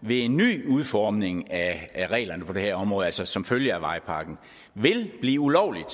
ved en ny udformning af reglerne på det her område altså som følge af vejpakken vil blive ulovligt